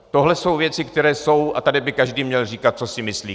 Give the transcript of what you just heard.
Tohle jsou věci, které jsou, a tady by každý měl říkat, co si myslí.